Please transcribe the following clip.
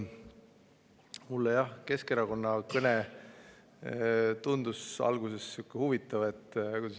Mulle Keskerakonna kõne tundus alguses huvitav.